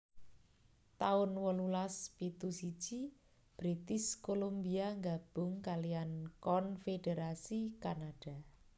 taun wolulas pitu siji British Columbia nggabung kaliyan konfédherasi Kanada